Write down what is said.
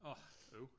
Åh øv